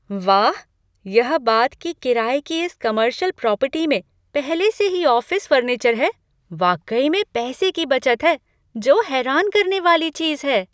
वाह! यह बात कि किराये की इस कमर्शियल प्रॉपर्टी में पहले से ही ऑफिस फर्नीचर है, वाकई में पैसे की बचत है जो हैरान करने वाली चीज है।